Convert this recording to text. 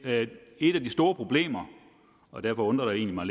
et af de store problemer og derfor undrer det mig